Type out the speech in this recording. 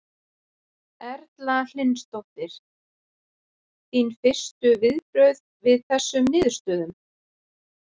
Erla Hlynsdóttir: Þín fyrstu viðbrögð við þessum niðurstöðum?